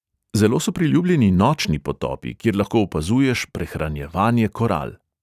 Zelo so priljubljeni nočni potopi, kjer lahko opazuješ prehranjevanje koral.